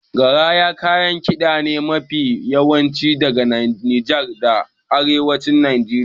Garaya kayan kiɗa ne mafi yawanci daga Nijar da Arewacin Najeriya.